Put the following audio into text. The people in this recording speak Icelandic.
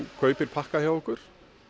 kaupir pakka hjá okkur